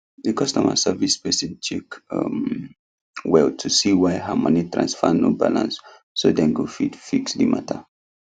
the customer service person check um well to seewhy her money transfer no balance so dem go fit fix the matter